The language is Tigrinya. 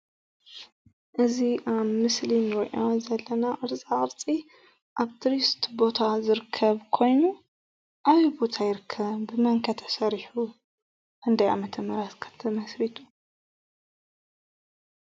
እዚ ኣብ ምስሊ ንሪኦ ዘለና ቅርፃ ቅርፂ ኣብ ቱሪስት ቦታ ዝርከብ ኮይኑ ኣበይ ቦታ ይርከብ? ብመን ከ ተሰሪሑ? ክንደይ ዓመተ ምሕረት ከ ተመስሪቱ?